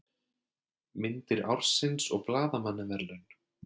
Myndir ársins og blaðamannaverðlaun